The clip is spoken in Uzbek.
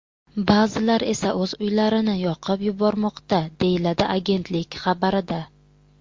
Ba’zilar esa o‘z uylarini yoqib yubormoqda”, deyiladi agentlik xabarida.